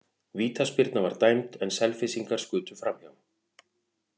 Vítaspyrna var dæmd en Selfyssingar skutu framhjá.